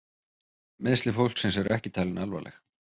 Meiðsli fólksins eru ekki talin alvarleg